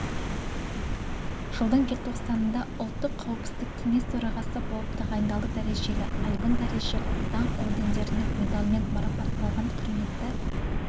жылдың желтоқсанында ұлттық қауіпсіздік кеңес төрағасы болып тағайындалды дәрежелі айбын дережелі даңқ ордендерімен медальмен марапатталған құрметті